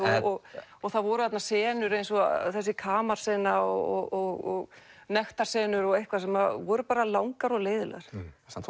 og það voru þarna senur eins og þessi kamarsena og nektarsenur og eitthvað sem voru bara langar og leiðinlegar